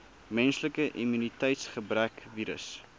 menslike immuniteitsgebrekvirus